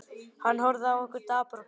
Hann horfði á okkur, dapur og kyrr.